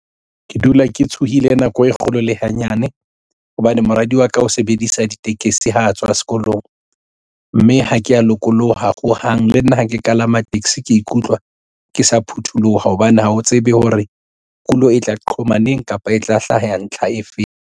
Ke dula ke tshohile nako e kgolo le hanyane hobane moradi wa ka o sebedisa ditekesi ha a tswa sekolong mme ha ke ya lokoloha hohang le nna ha ke kalama taxi ke ikutlwa ke sa phutholoha hobane ha o tsebe hore kulo e tla qhoma neng kapa e tla hlaha ya ntlha e feng.